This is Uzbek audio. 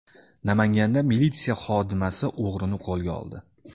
Namanganda militsiya xodimasi o‘g‘rini qo‘lga oldi.